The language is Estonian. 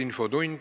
Infotund.